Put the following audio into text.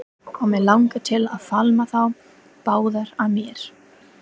Og mig langar til að faðma þá báða að mér.